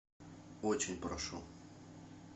очень прошу